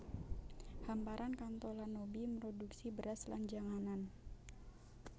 Hamparan Kanto lan Nobi mroduksi beras lan janganan